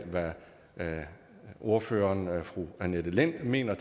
hvad ordføreren fru annette lind mener